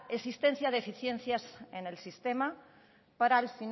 existencia de deficiencias en el sistema para